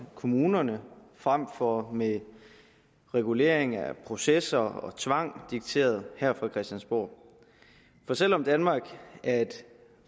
kommunerne frem for ved regulering af processer og tvang dikteret her fra christiansborg for selv om danmark er et